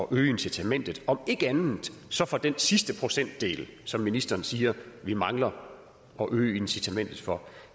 øge incitamentet om ikke andet så for den sidste procentdel som ministeren siger vi mangler at øge incitamentet for